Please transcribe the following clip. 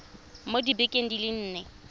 mo dibekeng di le nne